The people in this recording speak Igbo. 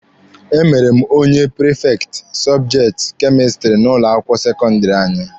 E mere m onye prifekti sọbjekti kemistiri n'ụlọ akwụkwọ sekọndịrị anyị.